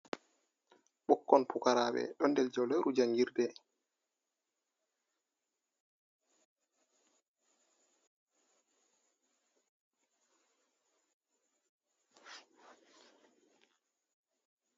Ɓokkon pukaraɓe ɗon der jauleru jangirde.